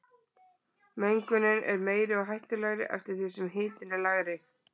Mengunin er meiri og hættulegri eftir því sem hitinn er lægri.